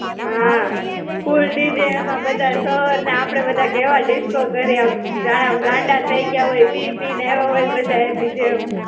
હાં. full DJ એમાંય બધા sir ને આપણે બધા કેવા disco કરીએ એમ જાણે આમ ગાંડા થઇ ગયા હોય, પી પી ને આયવા હોય, બધા એની જેમ.